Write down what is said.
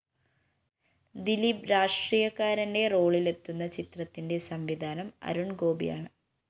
ദിലീപ് രാഷ്ട്രീയക്കാരന്റെ റോളിലെത്തുന്ന ചിത്രത്തിന്റെ സംവിധാനം അരുണ്‍ഗോപിയാണ്